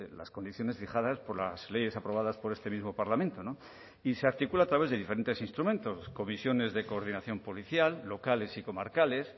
las condiciones fijadas por las leyes aprobadas por este mismo parlamento no y se articula a través de diferentes instrumentos comisiones de coordinación policial locales y comarcales